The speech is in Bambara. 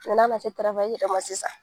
n'a man se yɛrɛ ma sisan.